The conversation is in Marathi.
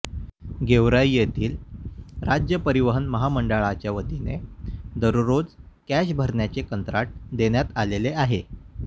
गेवराई येथील राज्य परिवहन महामंडळाच्या वतीने दररोजची कॅश भरण्याचे कंत्राट देण्यात आलेले आहे